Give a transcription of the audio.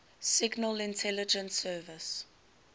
signal intelligence service